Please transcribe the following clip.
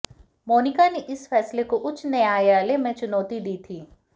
मोनिका ने इस फैसले को उच्च न्यायालय में चुनौती दी थी